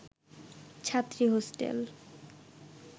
ছাত্রী হোস্টেল